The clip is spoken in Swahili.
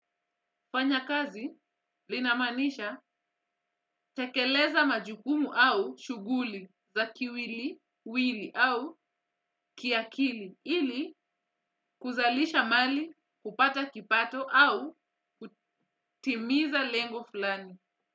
Fanya kazi linamaanisha tekeleza majukumu au shughuli za kiwiliwili au kiakili ili kuzalisha mali, kupata kipato au kutimiza lengo fulani.